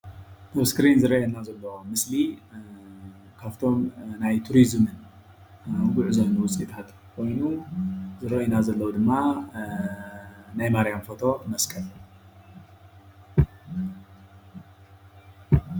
ኣብ ስክሪን እንርእዮ ዘለና ምስሊ ካፍቶም ናይ ቱሪዝም ጉዕዞን ውጽኢታት ኮይኑ ዝረአየና ዘሎ ድማ ናይ ማርያም ፎቶ መስቀል።